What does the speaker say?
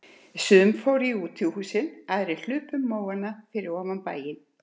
Sumir fóru í útihúsin, aðrir hlupu um móana fyrir ofan bæinn.